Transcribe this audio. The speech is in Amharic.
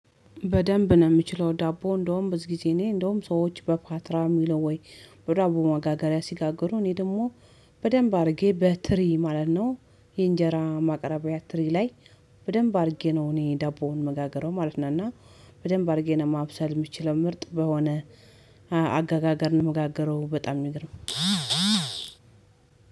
በደንብ ነው የምችለው ዳቦ እንደውም ብዙ ጊዜ እኔ እንደውም ሰዎች በፓትራ የሚለው ወይ በዳቦ ማጋገሪያ ሲጋገሩ እኔ ደግሞ በደንብ አድርጌ በትሪ ማለት ነው። የእንጀራ ማቅረቢያ ትሪ ላይ በደንብ አድርጌ ነው እኔ ዳቦዎ መጋገረው ማለት ነው። እና በደንብ አድርጌ ነው ማብሰል የምችለው ምርጥ በሆነ አገጋገር ነው የምጋገረው በጣም የሚገርም።